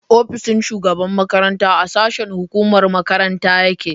Ofishin shugaban makaranta a sashen hukumar makaranta yake